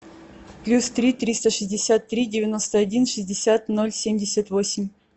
плюс три триста шестьдесят три девяносто один шестьдесят ноль семьдесят восемь